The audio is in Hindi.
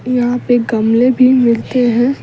यहां पे गमले भी मिलते हैं।